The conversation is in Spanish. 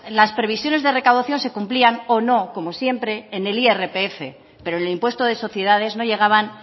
las previsiones de recaudación se cumplían o no como siempre en el irpf pero el impuesto de sociedades no llegaban